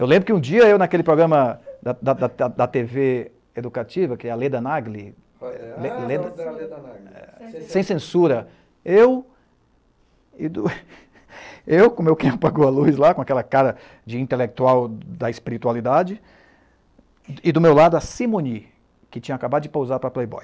Eu lembro que um dia eu, naquele programa da, da, da, da Tê Vê educativa, que é a Leda Nagli, sem censura, eu, com o meu quem apagou a luz lá, com aquela cara de intelectual da espiritualidade, e do meu lado a Simone, que tinha acabado de pousar para a Playboy.